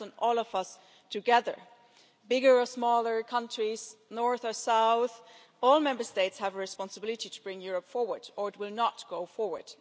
It depends on all of us together bigger or smaller countries, north or south, all Member States have a responsibility to bring Europe forward or it will not go forward.